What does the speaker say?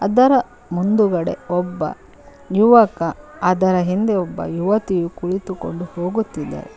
ಅದರ ಮುಂದುಗಡೆ ಒಬ್ಬ ಯುವಕ ಅದರ ಹಿಂದೆ ಒಬ್ಬ ಯುವತಿಯು ಕುಳಿತುಕೊಂಡು ಹೋಗುತ್ತಿದ್ದಾರೆ.